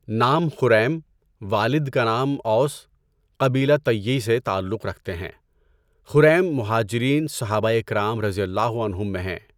نام خُریم، والد کا نام اَوس، قبیلہ طَیّ سے تعلق رکھتے ہیں۔ خریم مہاجرین صحابۂ کرام رضی اللہ عنھم میں ہیں۔